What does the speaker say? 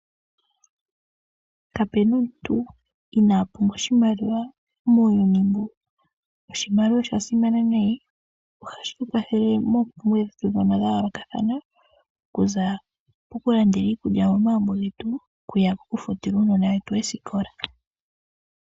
Kapuna omuntu inaa pumbwa oshimaliwa muuyuni mbu. Noshimaliwa osha simana nayi ohashi kwathele mompumbwe dhetu dha yoolokathana, okuza ko kulandela iikulya momagumbo getu okuya ko kufutila uunona wetu oosikola.